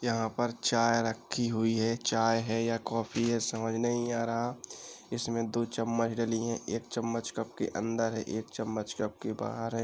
यहाँं पर चाय रखी हुई है। चाय है या काफी है समझ नहीं आ रहा। इसमें दो चम्मच डली है। एक चम्मच कप के अंदर है एक चम्मच कप के बाहर है।